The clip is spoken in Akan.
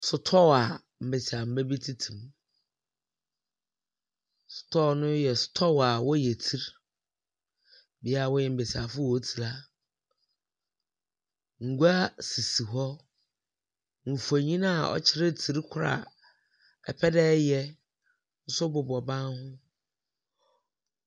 Sotɔɔ a mbesiamba bi tete mu. Sotɔɔ no yɛ sotɔɔ a wɔyɛ tsir. Bea a wɔyɛ mbesiafo hɔn tsir a. Ngua sisi. Mfonin a ɔkyerɛ tsir korɔ a ipɛ dɛ iyɛ nso bobɔ ban ho.